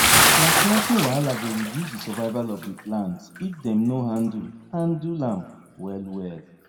transplanting wahala go reduce di survival of di plants if dem no handle handle am well well